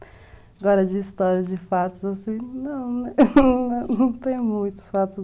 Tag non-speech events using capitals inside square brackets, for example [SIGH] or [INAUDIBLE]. Agora, de histórias, de fatos, não tenho muitos fatos. [LAUGHS]